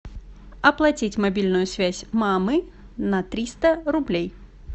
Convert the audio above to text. оплатить мобильную связь мамы на триста рублей